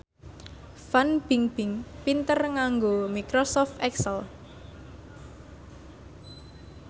Fan Bingbing pinter nganggo microsoft excel